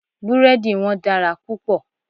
Búrẹ́dì wọn dára púpọ̀.